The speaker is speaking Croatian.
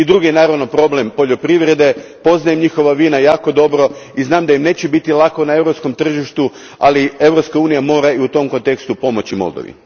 I drugi je naravno problem poljoprivrede, poznajem njihova vina jako dobro i znam da im neće biti lako na europskom tržištu, ali Europska unija mora i u tom kontekstu pomoći Moldovi.